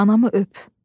Anamı öp.